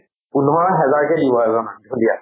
পোন্ধৰ হেজাৰ কে দিব এজনক, ঢুলীয়াক।